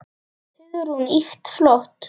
Hugrún: Ýkt flott.